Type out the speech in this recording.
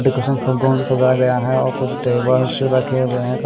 सजाया गया है और कुछ टेबल्स रखे हुए है.